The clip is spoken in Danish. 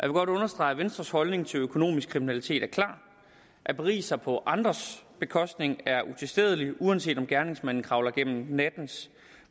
godt understrege at venstres holdning til økonomisk kriminalitet er klar at berige sig på andres bekostning er utilstedeligt uanset om gerningsmanden kravler gennem nattens